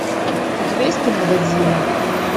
у тебя есть кино годзилла